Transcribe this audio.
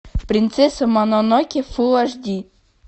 принцесса мононоке фул аш ди